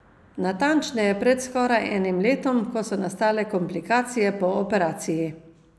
Natančneje pred skoraj enim letom, ko so nastale komplikacije po operaciji.